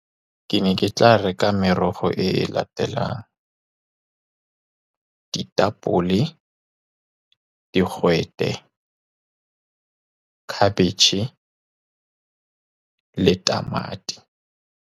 Ke ne ke tla reka merogo e latelang, ditapole, digwete, khabetšhe, le tamati.